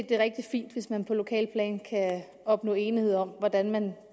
det er rigtig fint hvis man på lokalt plan kan opnå enighed om hvordan man